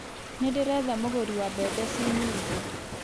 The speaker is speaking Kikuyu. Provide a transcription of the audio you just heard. Nĩ ndĩretha mũgũri wa mbembe ci nyingĩ